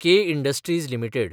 K industries limited